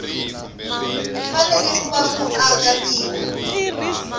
fanele ku va muaka tiko